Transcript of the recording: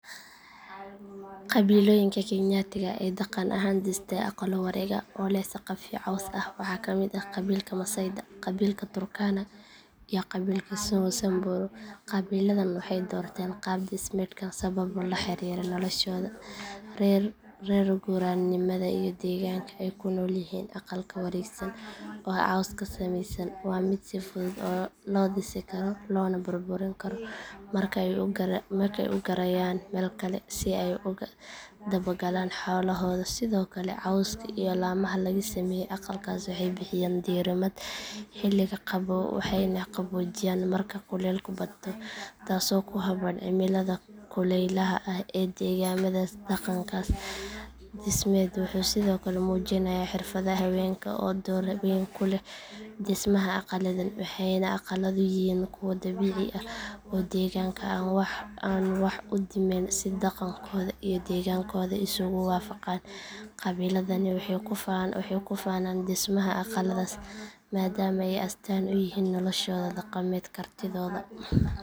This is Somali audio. Qabiilooyinka kenyaatiga ah ee dhaqan ahaan dhistay aqallo wareeg ah oo leh saqafyo caws ah waxaa kamid ah qabiilka masaayda qabiilka turkana iyo qabiilka samburu qabiiladan waxay doorteen qaab dhismeedkan sababo la xiriira noloshooda reer guuraanimada iyo deegaanka ay ku nool yihiin aqalka wareegsan oo cawska ka samaysan waa mid si fudud loo dhisi karo loona burburin karo marka ay u guurayaan meel kale si ay ugu daba galaan xoolahooda sidoo kale cawska iyo laamaha laga sameeyo aqalkaas waxay bixiyaan diirimaad xilliga qabow waxayna qaboojiyaan marka kuleylku bato taasoo ku habboon cimilada kulaylaha ah ee deegaamadaas dhaqankaas dhismeed wuxuu sidoo kale muujinayaa xirfadda haweenka oo door weyn ku leh dhismaha aqalladan waxayna aqalladu yihiin kuwo dabiici ah oo deegaanka aan wax u dhimayn si dhaqankooda iyo deegaankooda isugu waafaqaan qabiiladani waxay ku faanaan dhismaha aqalladaas maadaama ay astaan u yihiin noloshooda dhaqameed kartidooda iyo isu filnaanshahooda